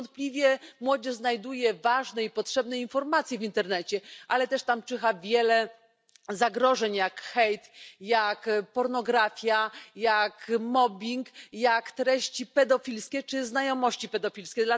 Niewątpliwie młodzież znajduje ważne i potrzebne informacje w internecie, ale też tam czyha wiele zagrożeń jak hejt, jak pornografia, jak mobbing, jak treści pedofilskie czy znajomości pedofilskie.